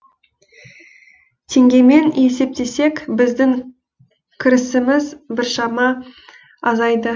теңгемен есептесек біздің кірісіміз біршама азайды